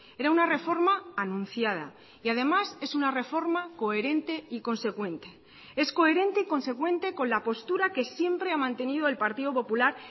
era una reforma anunciada y además es una reforma coherente y consecuente es coherente y consecuente con la postura que siempre ha mantenido el partido popular